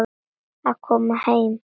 Að koma heim